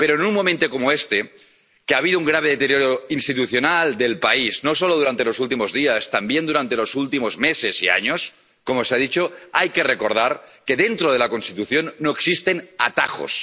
Pero en un momento como este, en el que ha habido un grave deterioro institucional del país ⸺no solo durante los últimos días, también durante los últimos meses y años, como se ha dicho⸺, hay que recordar que dentro de la Constitución no existen atajos.